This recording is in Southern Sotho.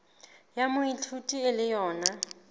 ya moithuti e le yona